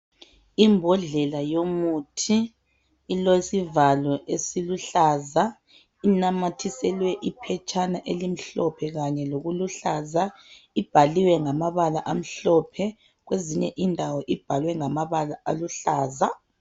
Imbodlela yomuthi ilesivalo esiluhlaza inamathiselwe iphetshana elimhlophe lokuluhlaza ibhaliwe ngamabala amhlophe kwezinye indawo ibhaliwe ngamabala aluhlaza